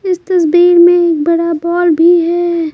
इस तस्वीर में एक बड़ा बॉल भी है।